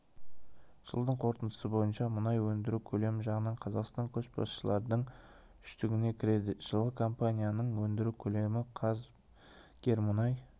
жылдың қорытындысы бойынша мұнай өндіру көлемі жағынан қазақстан көшбасшылардың үштігіне кіреді жылы компанияның өндіру көлемі қазгермұнай